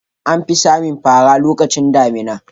An fi samun fara lokacin damina.